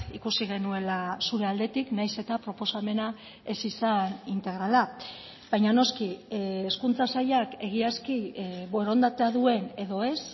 ikusi genuela zure aldetik nahiz eta proposamena ez izan integrala baina noski hezkuntza sailak egiazki borondatea duen edo ez